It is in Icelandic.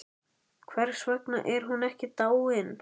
Hvers vegna var hún ekki dáin?